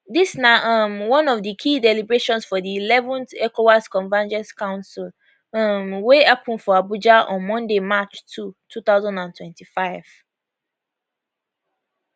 dis na um one of di key deliberations for di 11th ecowas convergence council um wey happen for abuja on monday march 2 2025